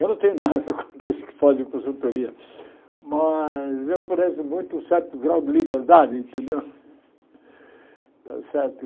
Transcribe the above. Eu não tenho nada contra os que fazem consultoria, mas eu prezo muito um certo grau de liberdade, entendeu? Está certo